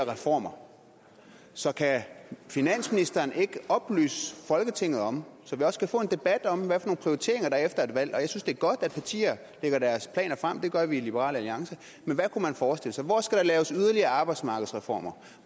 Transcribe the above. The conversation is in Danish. reformer så kan finansministeren ikke oplyse folketinget om så vi også kan få en debat om hvilke prioriteringer der er efter et valg jeg synes at det er godt at partier lægger deres planer frem det gør vi i liberal alliance men hvad kunne man forestille sig hvor skal der laves yderligere arbejdsmarkedsreformer